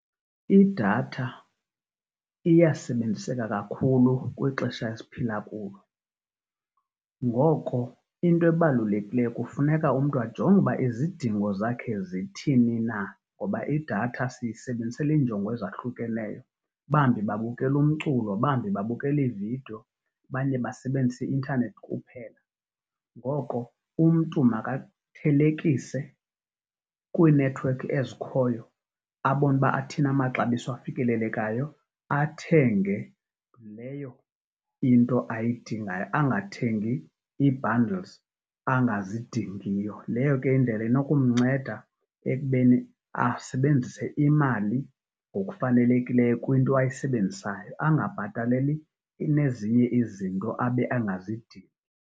Idatha iyasebenziseka kakhulu kwixesha esiphila kulo. Ngoko into ebalulekileyo kufuneka umntu ajonge uba izidingo zakhe zithini na ngoba idatha siyisebenzisela iinjongo ezahlukeneyo, bambi babukela umculo, bambi babukela iividiyo, abanye basebenzisa i-intanethi kuphela. Ngoko umntu makathelekise kwiinethiwekhi ezikhoyo abone uba athini amaxabiso afikelelekayo athenge leyo into ayidingayo, angathengi ii-bundles angazidingiyo. Leyo ke indlela inokumnceda ekubeni asebenzise imali ngokufanelekileyo kwinto ayisebenzisayo, angabhataleli nezinye izinto abe angazidingi.